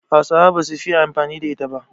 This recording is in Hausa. Hausawa ba su fiye amfani da ita ba